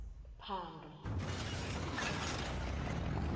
phando